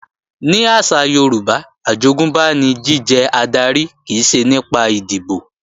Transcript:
Ní àṣà Yorùbá, àjogúnbá ni jíjẹ adarí kìí ṣe nípa ìdìbò